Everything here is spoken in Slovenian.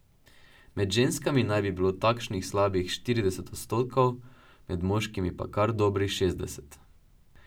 Med ženskami naj bi bilo takšnih slabih štirideset odstotkov, med moškimi pa kar dobrih šestdeset.